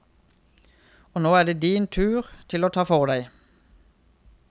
Og nå er det din tur til å ta for deg.